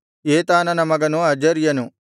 ಏತಾನನ ಮಗನು ಅಜರ್ಯನು